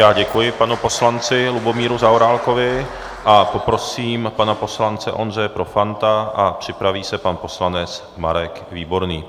Já děkuji panu poslanci Lubomíru Zaorálkovi a poprosím pana poslance Ondřeje Profanta a připraví se pan poslanec Marek Výborný.